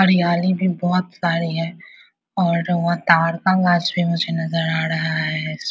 हरियाली भी बोहोत सारी है और वो मुझे नजर आ रहा है इसमें --